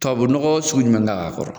Tubabu nɔgɔ sugu jumɛn k'a kɔrɔ